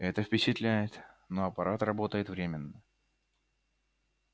это впечатляет но аппарат работает временно